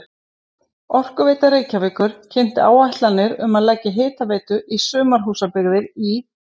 Orkuveita Reykjavíkur kynnti áætlanir um að leggja hitaveitu í sumarhúsabyggðir í